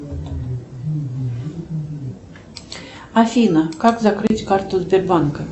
афина как закрыть карту сбербанка